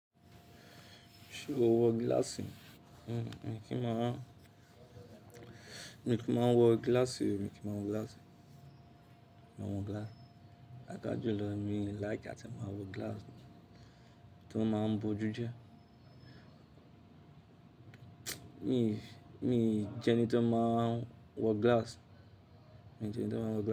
Ṣé o wọ gíláàsì? Mi kí má, mi kì í máa wọ gíláàsì, mi kì í máa wọ gíláàsì, máa wọ gíláàsì. Paapa julo mi like àti máa wọ gíláàsì tó máa ń bojú jẹ. Mi, mi jẹ́ ẹni tó máa ń wọ gíláàsì, mi jẹ́ ẹni tó máa ń wọ gíláàsì.